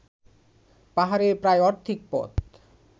পাহাড়ের প্রায় অর্ধেক পথ